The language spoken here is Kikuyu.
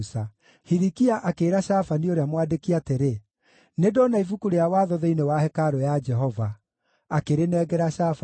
Hilikia akĩĩra Shafani ũrĩa mwandĩki atĩrĩ, “Nĩndona Ibuku rĩa Watho thĩinĩ wa hekarũ ya Jehova.” Akĩrĩnengera Shafani.